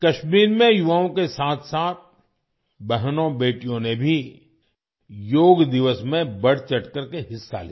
कश्मीर में युवाओं के साथ साथ बहनों-बेटियों ने भी योग दिवस में बढ़-चढ़कर हिस्सा लिया